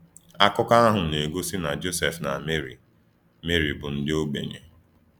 Akụkọ ahụ na-egosi na Jọsef na Meri Meri bụ ndị ogbenye.